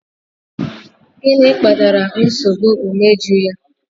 Gịnị kpatara nsogbu imeju ya?